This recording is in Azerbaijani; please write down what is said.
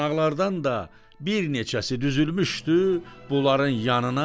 Qonaqlardan da bir neçəsi düzülmüşdü bunların yanına